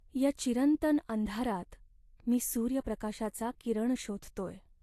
या चिरंतन अंधारात मी सूर्यप्रकाशाचा किरण शोधतोय.